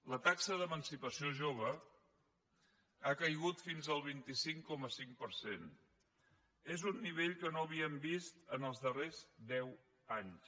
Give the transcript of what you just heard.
la taxa d’emancipació jove ha caigut fins al vint cinc coma cinc per cent és un nivell que no havíem vist els darrers deu anys